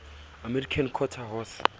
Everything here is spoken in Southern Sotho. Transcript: american quarter horse